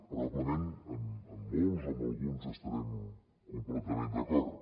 probablement amb molts o amb alguns estarem completament d’acord